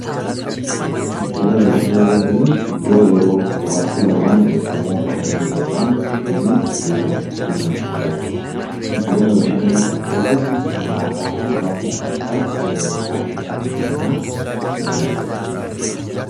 Giddugala bashannanaa kan jennuun iddoo yeroo bohaartii barbaadnu yookaan immoo bashannanuu barbaadnu itti deemnuun iddoo 'Giddugala bashannanaa' jennaan. Giddugala bashannanaa kana keessatti nyaataa fi dhugaatii addaa addaa fayyadamuu dandeenya.